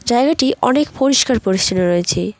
জায়গাটি অনেক পরিষ্কার পরিচ্ছন্ন রয়েছে।